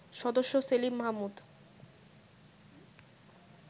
সদস্য সেলিম মাহমুদ